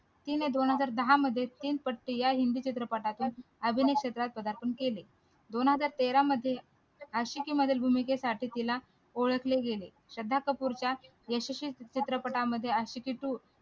तीन दोन हजार दहा मध्ये तीन पत्ती या चित्रपटातून अभिनय क्षेत्रात प्रधारपण केले दोन हजार तेरा मध्ये आशिकी मध्ये भूमिकेसाठी तिला ओळखले गेले श्रद्धा कपूर च्या यशस्वी चित्रपटांमध्ये आशिकी two